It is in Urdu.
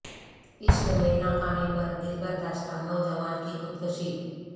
عشق میں ناکامی پر دلبرداشتہ نوجوان کی خود کشی